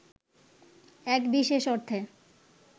এক বিশেষ অর্থে